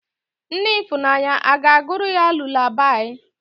Nne ifunanya aga-agụụrụ ya lulabaị?